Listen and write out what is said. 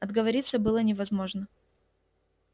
отговориться было невозможно